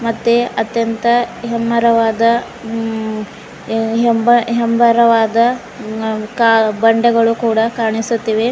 ಮತ್ತೆ ಅತ್ಯಂತ ಹೆಮ್ಮರವಾದ ಹೆಮ್ ಹೇಮರವಾದ ಬಂಡೆಗಳು ಕೂಡ ಕಾಣಿಸುತ್ತಿವೆ.